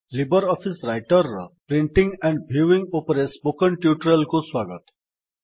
Libre Office Writer ର printing and viewing ଉପରେ spoken ଟ୍ୟୁଟୋରିଆଲକୁ ସ୍ୱାଗତ